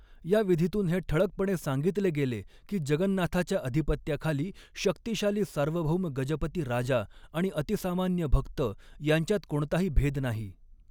या विधीतून हे ठळकपणे सांगितले गेले की जगन्नाथाच्या अधिपत्याखाली, शक्तिशाली सार्वभौम गजपती राजा आणि अतिसामान्य भक्त यांच्यात कोणताही भेद नाही.